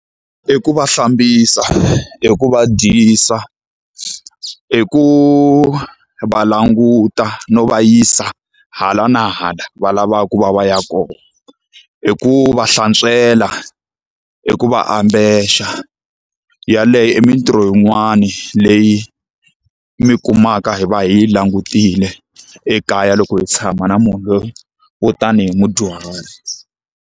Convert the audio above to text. I ku va hlambisa, i ku va dyisa, i ku va languta no va yisa hala na hala va lavaka ku va va ya kona. I ku va hlantswela, i ku va ambexa. Yaleyo i mintirho yin'wani leyi mi kumaka hi va hi yi langutile ekaya loko hi tshama na munhu loyi wo tanihi mudyuhari.